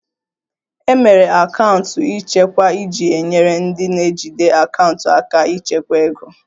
E mere akaụntụ nchekwa iji nyere ndị na-ejide akaụntụ aka ịchekwa ego